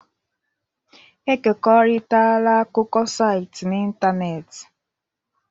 Ekekọrịtala akụkọ site n'ịntanetị.